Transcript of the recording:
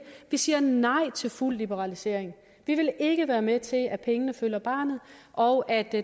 vi siger nej til fuld liberalisering vi vil ikke være med til at pengene følger barnet og at det